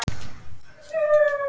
Elsku Vallý amma.